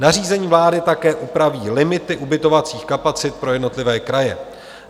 Nařízení vlády také upraví limity ubytovacích kapacit pro jednotlivé kraje.